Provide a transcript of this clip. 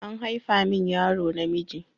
An haifa min yaro namiji.